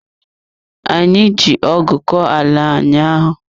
Ee, anyị ji ọgụ kọọ ala ụnyaahụ.